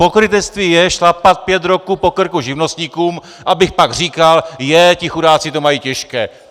Pokrytectví je šlapat pět roků po krku živnostníkům, abych pak říkal: Jé, ti chudáci to mají těžké.